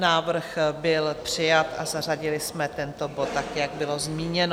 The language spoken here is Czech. Návrh byl přijat a zařadili jsme tento bod tak, jak bylo zmíněno.